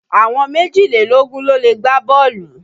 Àwọn méjìlélógún ló lè gbá bọ́ọ̀lù.